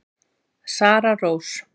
Sara Rós.